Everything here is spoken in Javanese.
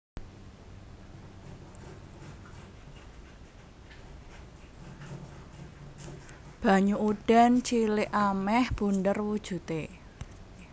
Banyu udan cilik amèh bunder wujudé